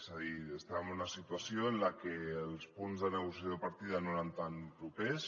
és a dir estàvem en una situació en la que els punts de negociació de partida no eren tan propers